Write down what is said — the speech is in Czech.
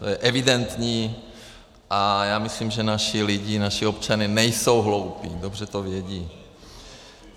To je evidentní a já myslím, že naši lidé, naši občané nejsou hloupí, dobře to vědí.